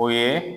O ye